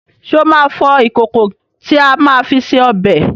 Ṣé o máa fọ ìkòkò tí a máa fi se ọbẹ̀